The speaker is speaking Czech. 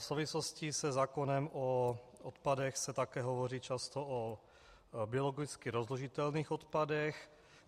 V souvislosti se zákonem o odpadech se také hovoří často o biologicky rozložitelných odpadech.